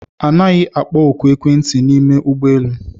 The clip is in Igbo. Anaghị akpọ ọkụ ekwentị n'ime ụgbọelu